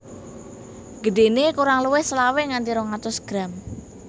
Gedhéné kurang luwih selawe nganti rong atus gram